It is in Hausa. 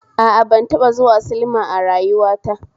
A a, ban taba zuwa silma a rayuwa ta